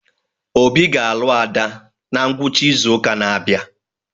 Obi ga-alụ Ada na ngwụcha izu ụka na-abịa